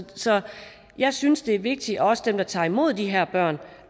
så jeg synes det er vigtigt at også dem der tager imod de her børn